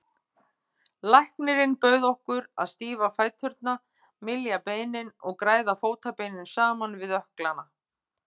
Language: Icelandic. Læknirinn bauð okkur að stífa fæturna, mylja beinin og græða fótarbeinin saman við ökklana.